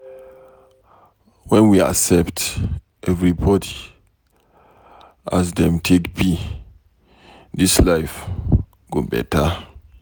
wen we accept everybody as dem take be, dis life go beta.